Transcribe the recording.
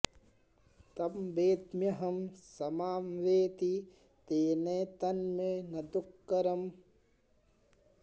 तं वेद्म्यहं स मां वेत्ति तेनैतन्मे न दुःकरम्